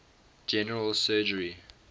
general surgery